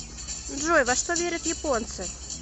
джой во что верят японцы